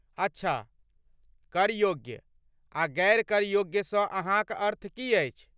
अच्छा, "करयोग्य" आ "गैर करयोग्य"सँ अहाँकअर्थ की अछि?